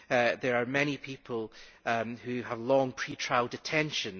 There are many people who have long pre trial detention.